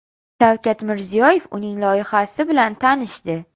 Shavkat Mirziyoyev uning loyihasi bilan tanishdi.